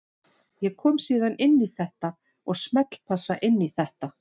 Ég kom síðan inn í þetta og smellpassa inn í þetta.